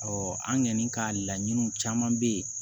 an kɔni ka laɲiniw caman bɛ ye